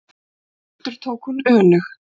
endurtók hún önug.